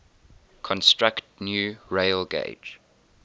construct new railgauge